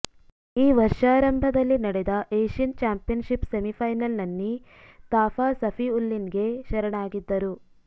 ಈ ವರ್ಷಾರಂಭದಲ್ಲಿ ನಡೆದ ಏಶ್ಯನ್ ಚಾಂಪಿಯನ್ಶಿಪ್ ಸೆಮಿ ಫೈನಲ್ನಲ್ಲಿ ಥಾಪ ಸಫಿವುಲ್ಲಿನ್ಗೆ ಶರಣಾಗಿದ್ದರು